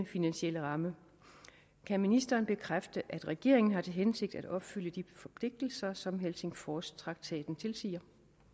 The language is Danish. finansielle ramme kan ministeren bekræfte at regeringen har til hensigt at opfylde de forpligtelser som helsingforstraktaten tilsiger